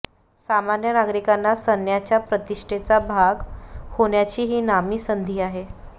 सामान्य नागरिकांना सन्याच्या प्रतिष्ठेचा भाग होण्याची ही नामी संधी आहे